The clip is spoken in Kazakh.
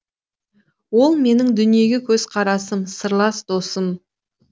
ол менің дүниеге көзқарасым сырлас досым